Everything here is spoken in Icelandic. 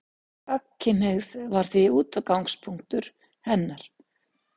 Gagnkynhneigð var því útgangspunktur hennar.